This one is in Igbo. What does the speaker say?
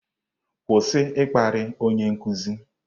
Kwụsị ịkparị onye nkuzi!